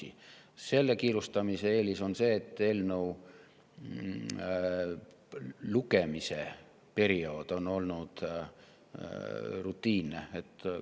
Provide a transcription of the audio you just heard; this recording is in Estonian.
Kiire eelis on see, et eelnõu lugemise periood on olnud rutiinne.